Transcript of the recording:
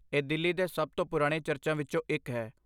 ਇਹ ਦਿੱਲੀ ਦੇ ਸਭ ਤੋਂ ਪੁਰਾਣੇ ਚਰਚਾਂ ਵਿੱਚੋਂ ਇੱਕ ਹੈ।